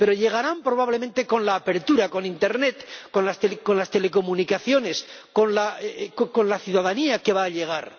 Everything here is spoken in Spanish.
Pero llegarán, probablemente, con la apertura, con Internet, con las telecomunicaciones, con la ciudadanía que va a llegar.